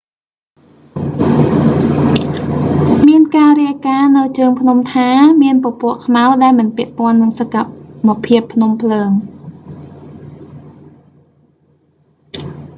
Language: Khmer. មានការរាយការណ៍នៅជើងភ្នំថា មានពពកខ្មៅដែលមិនពាក់ព័ន្ធនឹងសកម្មភាពភ្នំភ្លើង